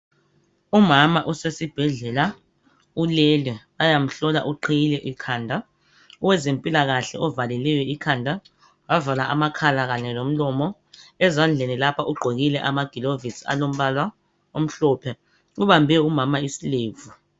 Umama usesibhedlela ulele bayamhlola uqhiyile ikhanda .Owezempilakahle ovalileyo ikhanda ,wavala amakhala kanye lomlomo ezandleni lapha ugqokile amagilovisi alombala omhlophe .Ubambe umama isilevu .